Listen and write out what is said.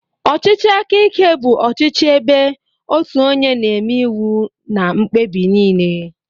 Ọchịchị aka ike bụ ọchịchị ebe otu onye na-eme iwu na mkpebi niile